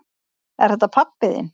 Er þetta pabbi þinn?